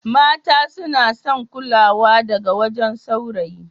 Mata suna son kulawa daga wajen sawrayi